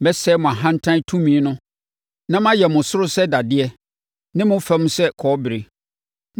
Mɛsɛe mo ahantan tumi no na mayɛ mo soro sɛ dadeɛ ne mo fam sɛ kɔbere.